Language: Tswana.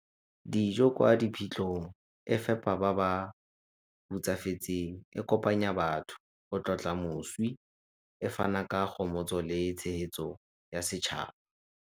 Dijo kwa diphitlhong e fepa ba ba hutsafetseng, e kopanya batho go tlotla moswi, e fana ka gomotso le tshegetso ya setšhaba.